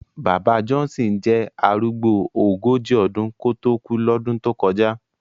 Bàbá Johnson jẹ́ arúgbó ogójì ọdún kó tó kú lọ́dún tó kọjá